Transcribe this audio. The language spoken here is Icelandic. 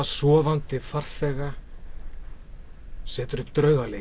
sofandi farþega setur upp